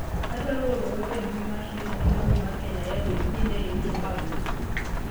adwaro oro ote e mbui mar twita ne kambi mar kenya airways ni ne iwito bag na